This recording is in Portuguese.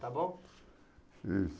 Está bom?